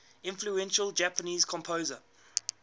influential japanese composer